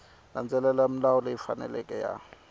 landzelela milawu leyi faneleke ya